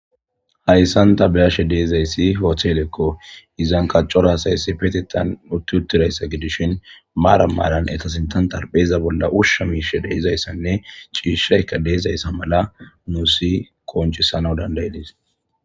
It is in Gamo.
Hayssantanni be'ashe dizayss hotelleko.izza Cala asay issippetetan utti uttidaysa gidishin maran maran eta sintha xarapheza bolla usha mishey de'iza cishayika de'izaysa mala nus qoncisana dandayides